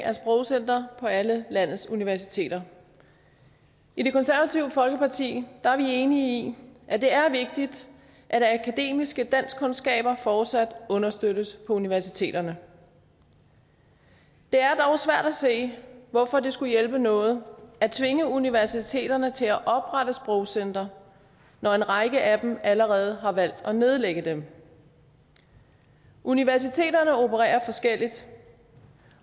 af sprogcenter på alle landets universiteter i det konservative folkeparti er vi enige i at det er vigtigt at akademiske danskkundskaber fortsat understøttes på universiteterne det er dog svært at se hvorfor det skulle hjælpe noget at tvinge universiteterne til at oprette sprogcentre når en række af dem allerede har valgt at nedlægge dem universiteterne opererer forskelligt